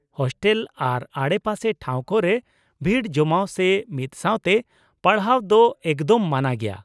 Hostel ᱟᱨ ᱟᱰᱮᱯᱟᱥᱮ ᱴᱷᱟᱶ ᱠᱚᱨᱮ, ᱵᱷᱤᱲ ᱡᱚᱢᱟᱣ ᱥᱮ ᱢᱤᱫ ᱥᱟᱶᱛᱮ ᱯᱟᱲᱦᱟᱣ ᱫᱚ ᱮᱠᱫᱚᱢ ᱢᱟᱱᱟ ᱜᱮᱭᱟ ᱾